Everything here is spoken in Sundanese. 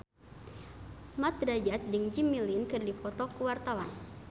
Mat Drajat jeung Jimmy Lin keur dipoto ku wartawan